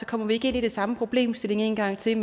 kommer vi ikke ind i den samme problemstilling en gang til